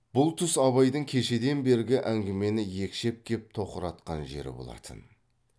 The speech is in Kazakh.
бұл тұс абайдың кешеден бергі әңгімені екшеп кеп тоқыратқан жері болатын